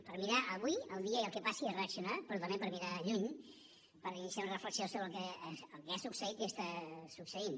per mirar avui el dia i el que passi i reaccionar però també per mirar lluny per iniciar una reflexió sobre el que ha succeït i està succeint